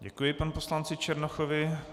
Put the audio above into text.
Děkuji panu poslanci Černochovi.